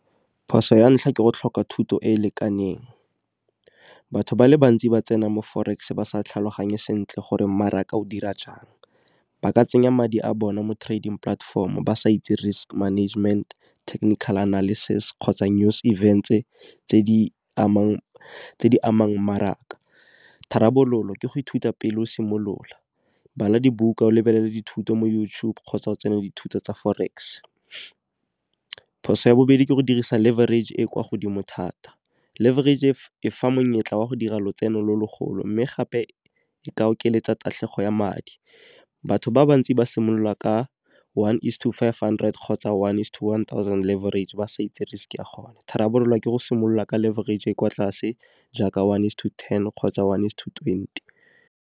Phoso ya ntlha ke go tlhoka thuto e e lekaneng batho ba le bantsi ba tsena mo forex ba sa tlhaloganye sentle gore mmaraka o dira jang. Ba ka tsenya madi a bona mo trading platform, ba sa itse risk management, technical analysis, kgotsa news event-e tse di amang maraka. Tharabololo ke go ithuta pele o simolola, bala dibuka o lebelele dithuto mo YouTube kgotsa o tsene le dithuto tsa forex. Phoso ya bobedi ke go dirisa laverage e kwa godimo thata, laverage e fa monyetla wa go dira lotseno lo lo golo mme gape e ka okeletsa tatlhego ya madi, batho ba bantsi ba simolola ka one is to five hundred, kgotsa one is to one thousand laverage rate ba sa itse risk ka gona. Tharabololo ke go simolola ka le laverage e kwa tlase jaaka one is to ten kgotsa one is to twenty.